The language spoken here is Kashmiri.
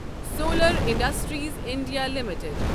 solar industries India limited